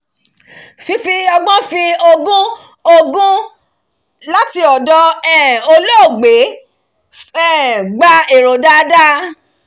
fífi ọgbọ́n fi ogún ogún láti ọ̀dọ̀ ẹbí um olóògbé um gba èrò dáadáa